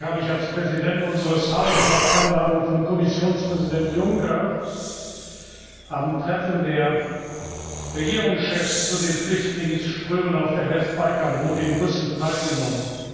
Am Sonntag habe ich als Präsident unseres Hauses auf Einladung von Kommissionspräsident Juncker am Treffen der Regierungschefs zu den Flüchtlingsströmen auf der Westbalkanroute in Brüssel teilgenommen.